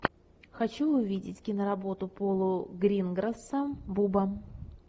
хочу увидеть киноработу пола гринграсса буба